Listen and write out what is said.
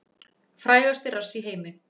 Frægasti rass í heimi